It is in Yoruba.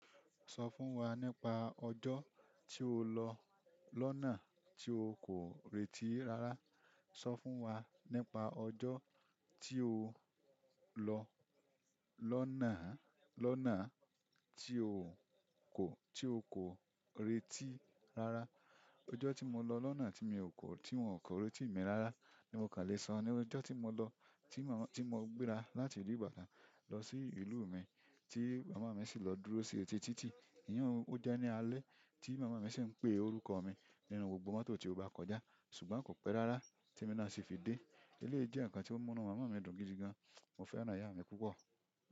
Sọ fún wa nípa ọjo tí o lọ lọ́nà tí o kò retí rárá. Sọ fún wa nípa ọjọ́ tí o lọ lọ́nà, lọ́nà tí o kò, tí o kò retí rárá. Ọjọ́ tí mo lọ lọ́nà tí mi ò kọ́, tí wọn kò rẹ́ti mi rárá ni mo kà lè sọ. Ní ọjọ́ tí mo lọ, tí mo, tí mo gbéra láti ìlú Ìbàdàn lọ sí ìlú mi tí màmá mi sì lọ dúró sí etí títì. Iyun ó jẹ́ ní alẹ́ tí màmá mi sì ń pe orúkọ mi nínú gbogbo mọ́tò tí ó bá kọjá ṣùgbọ́n kò pẹ́ rárá tí emi náà sì fi dé. Eléyìí jẹ́ ǹkan tí ó múnu màmá mi dùn gidigan. Mo fẹ́ràn ìyá mi púpọ̀.